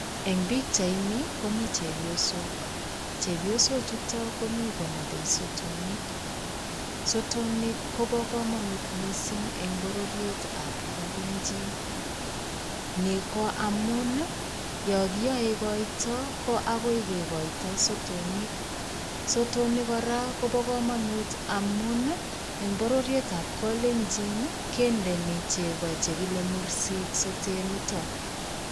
Eng' pikchaini komii chepyosok. Chepyosoo chutokchu komii konabei sotonik. Sotonik kobo kamanut mising eng' bororietab kalenjin. Ni koamun ya kiyoe koito ko agoi kekoito sotonik. Sotonik kora kobo kamanut amuun eng bororiet ab kalenjin kendeni chego chekile mursik sotet nito.